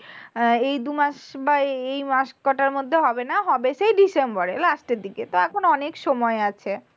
আহ এই দুমাস বা এই মাস মাস কটার মধ্যে হবে না। হবে সেই December এ last এর দিকে। তা এখন অনেক সময় আছে।